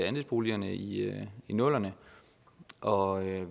andelsboligerne i nullerne og